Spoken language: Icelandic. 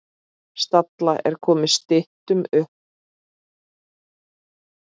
Stalla er komið styttum á.